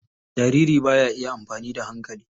Jariri ba ya iya amfani da hankali.